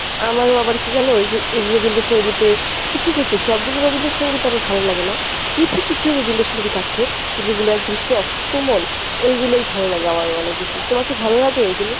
আমারো আবার কী জানো ওইযে রবীন্দ্র সঙ্গীতের কিছু কিছু সব গুলো রবীন্দ্র সঙ্গীত আবার ভালো লাগে না কিছু কিছু রবীন্দ্র সঙ্গীত আছে যেগুলো একদম soft কোমল ওইগুলাই ভালো লাগে আমার অনেক বেশি। তোমার কী ভালো লাগে ওইগুলো?